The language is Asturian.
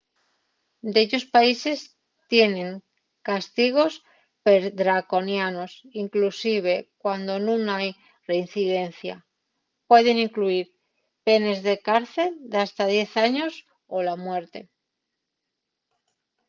dellos países tienen castigos perdraconianos inclusive cuando nun hai reincidencia; pueden incluyir penes de cárcel d’hasta 10 años o la muerte